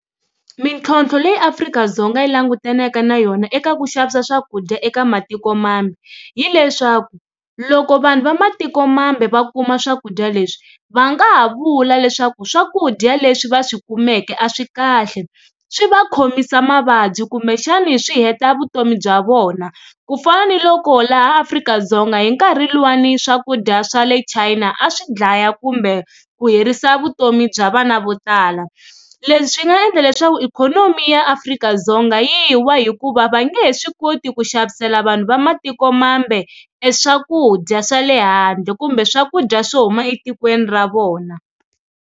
Mintlhontlho leyi Afrika-Dzonga yi langutaneke na yona eka ku xavisa swakudya eka matiko mambe hileswaku loko vanhu va matiko mambe va kuma swakudya leswi va nga ha vula leswaku swakudya leswi va swi kumeke a swi kahle swi va khomisa mavabyi kumbexani swi heta vutomi bya vona ku fana ni loko laha Afrika-Dzonga hi nkarhi luwani swakudya swa le China a swi dlaya kumbe ku herisa vutomi bya vana vo tala. Leswi nga endla leswaku ikhonomi ya Afrika-Dzonga yi wa hikuva va nge he swi koti ku xavisela vanhu va matikomambe e swakudya swa le handle kumbe swakudya swo huma etikweni ra vona.